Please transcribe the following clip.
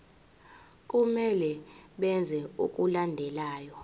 kumele benze okulandelayo